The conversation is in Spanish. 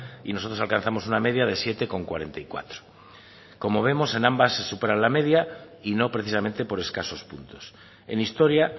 y nosotros alcanzamos una media de siete coma cuarenta y cuatro como vemos en ambas se supera la media y no precisamente por escasos puntos en historia